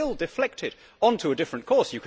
You could still deflect it on to a different course.